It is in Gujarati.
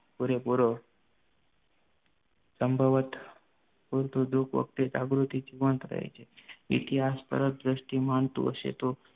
પુરેપુરો સંભવત ઉલટું દુઃખ વખતે જાગૃતિ જીવંત રહે છે ઇતિહાસ પરત્વે દ્રષ્ટિ માનતું હશે તો